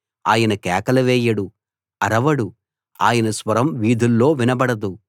ఆయన కేకలు వేయడు అరవడు ఆయన స్వరం వీధుల్లో వినబడదు